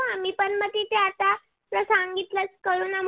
corona मध्ये